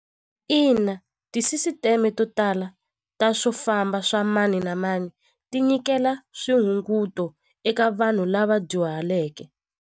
Ina tisisiteme to tala ta swo famba swa mani na mani tinyikela swihunguto eka vanhu lava dyuhaleke.